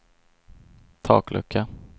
taklucka